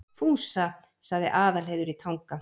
Fúsa, sagði Aðalheiður í Tanga.